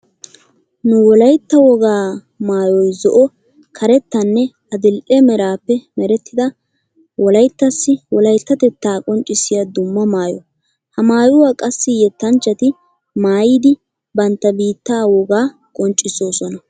Nu wolaytta wogaa maayoy zo'o, karettanne adidhdhe meraappe merettida wolayttassi wolayttatettaa qonccissiya dumma maayo. Ha maayuwa qassi yeettanchchati maayidi bantta biittaa wogaa qonccissoosona.